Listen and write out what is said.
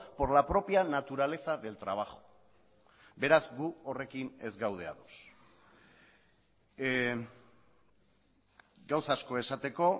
por la propia naturaleza del trabajo beraz gu horrekin ez gaude ados gauza asko esateko